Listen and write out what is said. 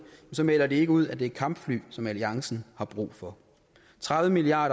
så melder de ikke ud at det er kampfly som alliancen har brug for tredive milliard